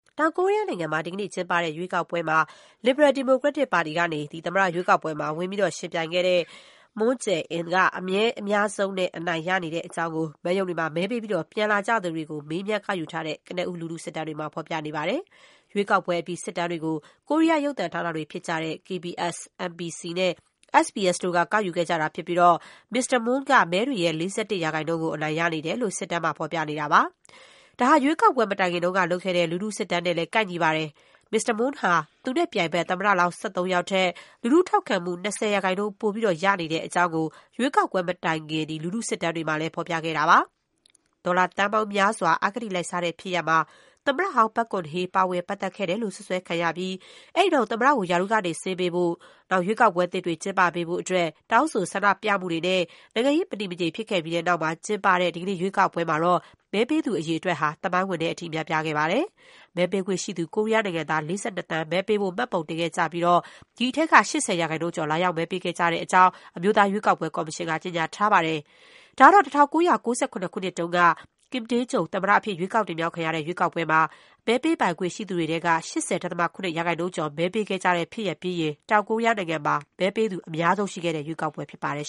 တောင်ကိုရီးယားနိုင်ငံမှာ ဒီကနေ့ကျင်းပတဲ့ ရွေးကောက်ပွဲမှာ လစ်ဘရယ် ဒီမိုကရက်တစ်ပါတီကနေ သမ္မတရွေးကောက်ပွဲမှာ ပါဝင်ယှဉ်ပြိုင်ခဲ့တဲ့ Moon Jae-in က မဲအများဆုံးနဲ့ အနိုင်ရနေတဲ့အကြောင်း မဲရုံတွေမှာ မဲပေးပြီး ပြန်လာသူတွေ ကို မေးမြန်း ကောက်ယူထားတဲ့ ကနဦး လူထုစစ်တမ်းတွေမှာ ဖော်ပြနေပါတယ်။ ရွေးကောက်ပွဲအပြီး စစ်တမ်းတွေကို ကိုရီးယား ရုပ်သံဌာနတွေ ဖြစ်ကြတဲ့ KBS ၊ MBC နဲ့ SBS တို့က ကောက်ယူခဲ့ကြတာ ဖြစ်ပြီး မစ္စတာ Moon က မဲတွေရဲ့ ၄၁ ရာခိုင်နှုန်းကို အနိုင်ရနေတယ်လို့ စစ်တမ်းမှာ ပြနေတာပါ။ ဒါဟာ ရွေးကောက်ပွဲမတိုင်ခင်လုပ်ခဲ့တဲ့ လူထုစစ်တမ်းနဲ့လည်း ကိုက်ညီပါတယ်။ မစ္စတာ Moon ဟာ သူနဲ့ပြိုင်ဘက် သမ္မတလောင်း ၁၃ ယောက်ထက် လူထုထောက်ခံမှု ၂၀ ရာခိုင်နှုန်း ပိုရနေတဲ့အကြောင်းကို ရွေးကောက်ပွဲမတိုင်ခင် လူထုစစ်တမ်းတွေမှာ ဖော်ပြခဲ့တာပါ။ ဒေါ်လာသန်းပေါင်းများစွာ အဂတိလိုက်စားတဲ့ ဖြစ်ရပ်မှာ သမ္မတဟောင်း ပက်ဂွန်ဟေး ပါဝင်ပတ်သက်ခဲ့တယ်လို့ စွပ်စွဲခံရပြီး အဲဒီနောက် သမ္မတကို ရာထူးကနေ ဆင်းပေးဖို့ ရွေးကောက်ပွဲသစ်ကျင်းပပေးဖို့ တောင်းဆိုဆန္ဒပြမှုတွေနဲ့ နိုင်ငံရေး မတည်မငြိမ် ဖြစ်ခဲ့ပြီးတဲ့နောက် ကျင်းပတဲ့ ဒီကနေ့ ရွေးကောက်ပွဲမှာ မဲပေးသူအရေးအတွက်ဟယ သမိုင်းဝင်တဲ့အထိ များပြားခဲ့ပါတယ်။ မဲပေးခွင့်ရှိသူ ကိုရီးယားနိုင်ငံသား ၄၂ သန်း မဲပေးဖို့မှတ်ပုံတင်ခဲ့ကြပြီး ဒီအထဲက ၈၀ ရာခိုင်နှုန်းကျော် လာရောက်မဲပေးခဲ့ကြတဲ့အကြောင်း အမျိုးသား ရွေးကောက်ပွဲ ကော်မရှင် က ကြေညာထားပါတယ်။ ဒါကတော့ ၁၉၉၇ ခုနှစ်တုန်းက Kim Dae-jung သမ္မတအဖြစ် ရွေးကောက်တင်မြှောက် ခံခဲ့ရတဲ့ ရွေးကောက်ပွဲမှာ မဲပေးပိုင်ခွင့်ရှိသူတွေထဲက ၈၀.၇ ရာခိုင်နှုန်းကျော် မဲပေးခဲ့ကြတဲ့ ဖြစ်ရပ်ပြီးရင် တောင်ကိုရီးယားမှာ မဲပေးသူ အများဆုံး ရှိခဲ့တဲ့ရွေးကောက်ပွဲ ဖြစ်ပါတယ်